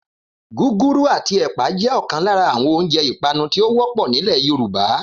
Gúgúrú àti ẹ̀pà jẹ́ ọ̀kan lára àwọn oúnjẹ ipanu tí ó wọ́pọ̀ nílẹ̀ Yorùbá